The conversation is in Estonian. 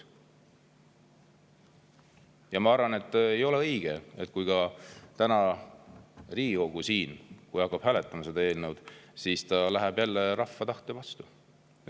Ja ma arvan, et ei ole õige, et kui täna Riigikogu hakkab siin hääletama seda eelnõud, siis ta läheb jälle rahva tahte vastu.